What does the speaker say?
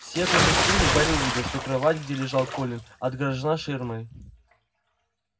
сев на постели гарри увидел что кровать где лежал колин отгорожена ширмой